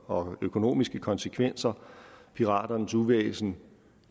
og økonomiske konsekvenser piraternes uvæsen